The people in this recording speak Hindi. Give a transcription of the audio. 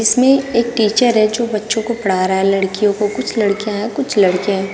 इसमें एक टीचर है जो बच्चों को पढ़ा रहा है लड़कियों को कुछ लड़कियां हैं कुछ लड़के हैं।